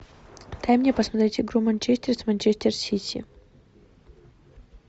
дай мне посмотреть игру манчестер с манчестер сити